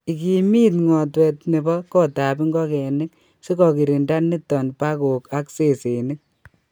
Igimit ngotwet nebo kotab ngokenik sikogirinda niton pagok ak sesenik.